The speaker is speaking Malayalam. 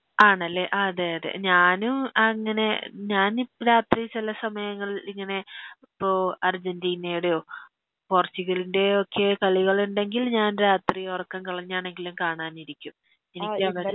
ആണല്ലേ അതെയതെ ഞാനും അങ്ങനെ ഞാനിപ്പരാത്രി ചെല സമയങ്ങൾല് ഇങ്ങനെ ഇപ്പൊ അർജന്റീനയുടെയോ പോർച്ചുഗൽൻ്റെയൊക്കെ കളികള്ണ്ടെങ്കിൽ ഞാൻ രാത്രി ഒറക്കം കളഞ്ഞാണെങ്കിലും കാണാനിരിക്കും